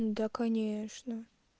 ну да конечно